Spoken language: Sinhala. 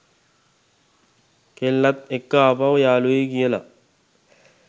කෙල්ලත් එක්ක ආපහු යාළුවෙයි කියලා